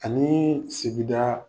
Ani sigida